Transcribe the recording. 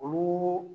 Olu